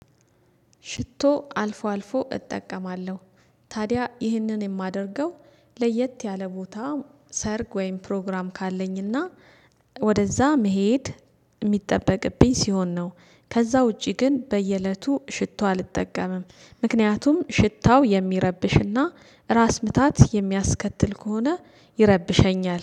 ሽቶ አልፎ አልፎ እጠቀማለሁ። ታዲያ ይህንን የማደርገው ለየት ያለ ቦታ ሰርግ ወይም ፕሮግራም ካለኝና ወደዛ መሄድ የሚጠበቅብኝ ሲሆን ነው። ከዛ ውጪ ግን በየእለቱ ሽቶ አልጠቀምም። ምክንያቱም ሽታው የሚረብሽና ራስ ምታት የሚያስከትል ከሆነ ይረብሸኛል